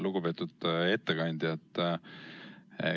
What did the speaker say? Lugupeetud ettekandja!